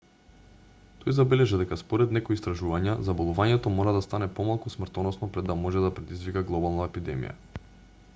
тој забележа дека според некои истражувања заболувањето мора да стане помалку смртоносно пред да може да предизвика глобална епидемија